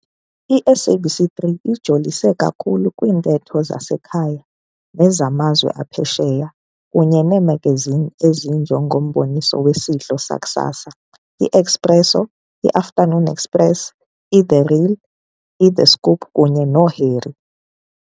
I-SABC 3 ijolise kakhulu kwiintetho zasekhaya nezamazwe aphesheya kunye neemagazini ezinje ngomboniso wesidlo sakusasa i-Expresso, i-Afternoon Express, i-The Real, i The Scoop kunye no Harry